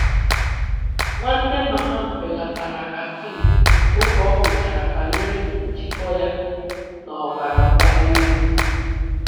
Nwanne mama m belatara caffeine oge ọguchara banyere njikọ ya na ọbara mgbali elu